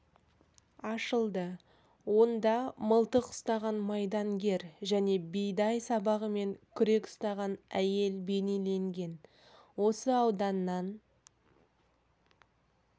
ашылды онда мылтық ұстаған майдангер және бидай сабағы мен күрек ұстаған әйел бейнеленген осы ауданнан